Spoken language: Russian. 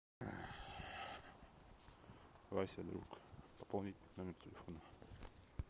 вася друг пополнить номер телефона